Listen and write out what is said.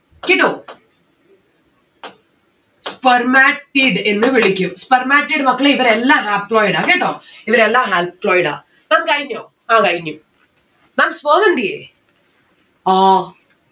കേട്ടോ spermatid എന്ന് വിളിക്കും. spermatid മക്കളെ ഇവരെല്ലാം haploid ആണ് കേട്ടോ? ഇവരെല്ലാം haploid ആ. ma'am കഴിഞ്ഞോ? ആ കഴിഞ്ഞ്. ma'am sperm എന്തിയേ? ആഹ്